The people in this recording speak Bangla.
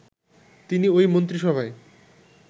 তিনি ওই মন্ত্রিসভায়